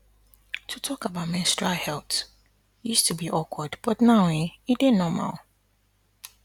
to talk about menstrual health used to be awkward but now um e dey normal